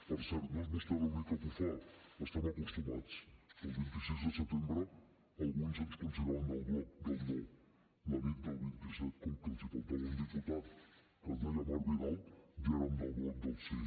per cert no és vostè l’única que ho fa hi estem acostumats el vint sis de setembre alguns ens consideraven del bloc del no la nit del vint set com que els faltava un diputat que es deia marc vidal ja érem del bloc del sí